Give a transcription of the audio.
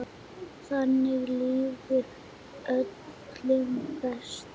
Þannig líður öllum best.